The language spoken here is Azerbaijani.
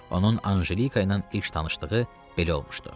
Onun Anjelika ilə ilk tanışlığı belə olmuşdu.